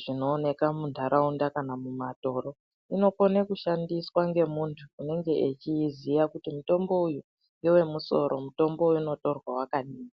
zvinooneka mundaraunda kana mumatoro inokone kushandiswa ngemuntu unenge echiiziya kuti mutombo uyu ngewemusoro mutombo uyu unotorwa wakadini.